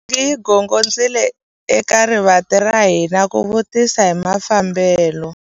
Nsingi yi gongondzile eka rivanti ra hina ku vutisa hi mafambelo.